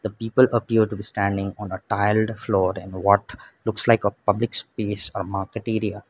people appear to be standing on a tiled floor in what looks like a public space or market area.